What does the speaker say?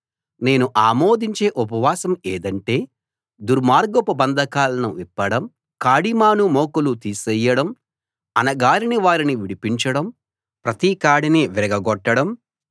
నేను ఆమోదించే ఉపవాసం ఏదంటే దుర్మార్గపు బంధకాలను విప్పడం కాడిమాను మోకులు తీసేయడం అణగారిన వారిని విడిపించడం ప్రతి కాడినీ విరగగొట్టడం